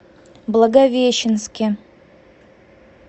благовещенске